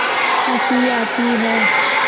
हँसी आती है